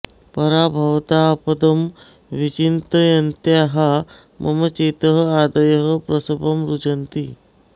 परां भवदापदं विचिन्तयन्त्याः मम चेतः आधयः प्रसभं रुजन्ति